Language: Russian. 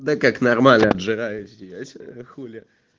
да как нормально обжираюсь я сегодня хули